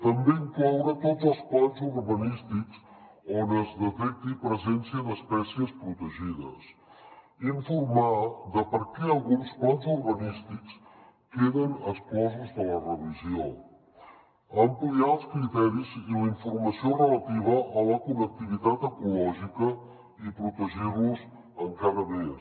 també incloure tots els plans urbanístics on es detecti presència d’espècies protegides informar de per què alguns plans urbanístics queden exclosos de la revisió ampliar els criteris i la informació relativa a la connectivitat ecològica i protegir los encara més